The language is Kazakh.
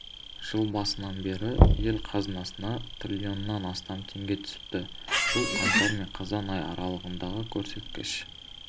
жыл басынан бері ел қазынасына триллионнан астам теңге түсіпті бұл қаңтар мен қазан айы аралығындағы көрсеткіш